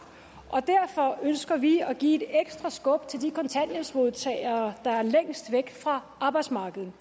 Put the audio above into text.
og derfor ønsker vi at give et ekstra skub til de kontanthjælpsmodtagere der er længst væk fra arbejdsmarkedet